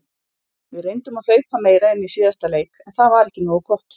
Við reyndum að hlaupa meira en í síðasta leik en það var ekki nógu gott.